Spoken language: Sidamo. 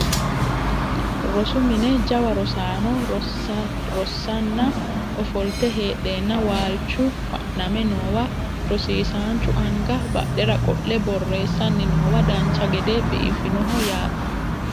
Rosu mine jawa rosaano rossanna ofolte heedheenna waalchu fa'name noowa rosiisaanchu anga badhera qo'le borreessanni noowa dancha gede biifinoho yaate